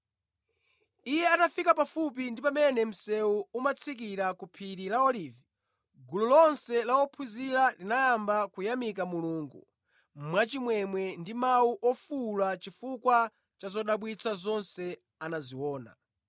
Iye atafika pafupi ndi pamene msewu umatsikira ku phiri la Olivi, gulu lonse la ophunzira linayamba kuyamika Mulungu mwachimwemwe ndi mawu ofuwula chifukwa cha zodabwitsa zonse anaziona.